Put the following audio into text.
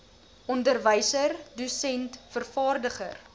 onderwyser dosent vervaardiger